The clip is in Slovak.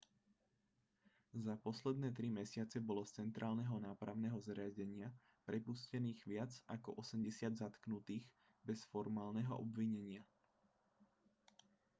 za posledné 3 mesiace bolo z centrálneho nápravného zariadenia prepustených viac ako 80 zatknutých bez formálneho obvinenia